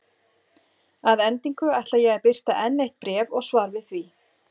Að endingu ætla ég að birta enn eitt bréf og svar við því.